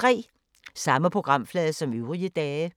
Samme programflade som øvrige dage